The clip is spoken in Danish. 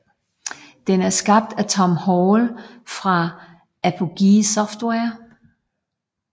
Den er skabt af Tom Hall fra Apogee Software